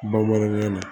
Bamanankan na